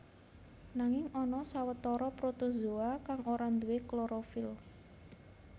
Nanging ana sawetara protozoa kang ora nduwé klorofil